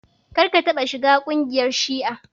Kar ka taɓa shiga kungiyar shi'a!